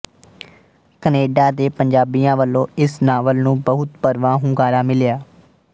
Canada ਦੇ ਪੰਜਾਬੀਆਂ ਵਲੋਂ ਇਸ ਨਾਵਲ ਨੂੰ ਬਹੁਤ ਭਰਵਾਂ ਹੁੰਗਾਰਾ ਮਿਲਿਆ